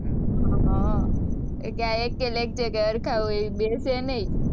એ ત્યાં એકેય lecture ક્યાંય હરખા હોય એ બેસે નહીં.